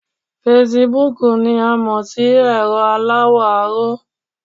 Fasibúùkù ni a mọ̀ sí ẹ̀rọ aláwọ̀ aró